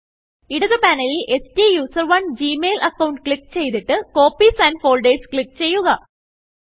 ഇടത് പാനലിൽSTUSERONEജി mail account click ചെയ്തിട്ട് കോപ്പീസ് ആൻഡ് Foldersക്ലിക്ക് ചെയ്യുക